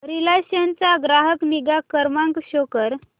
Reliance चा ग्राहक निगा क्रमांक शो कर